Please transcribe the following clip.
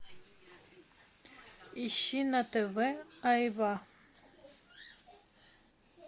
ищи на тв айва